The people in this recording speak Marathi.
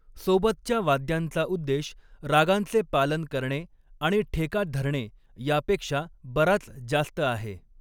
सोबतच्या वाद्यांचा उद्देश रागांचे पालन करणे आणि ठेका धरणे यापेक्षा बराच जास्त आहे.